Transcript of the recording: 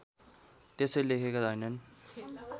त्यसै लेखेका हैनन्